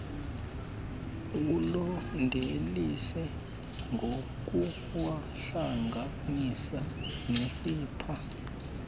ulandelise ngokuwahlanganisa nesepha